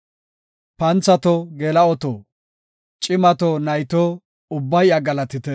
Panthato, geela7oto, cimato, nayto, ubbay iya galatite.